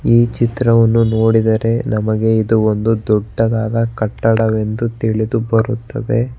ಈ ಚಿತ್ರವನ್ನು ನೋಡಿದರೆ ನಮಗೆ ಇದು ಒಂದು ದೊಡ್ಡದಾದ ಕಟ್ಟಡವೆಂದು ತಿಳಿದುಬರುತ್ತದೆ.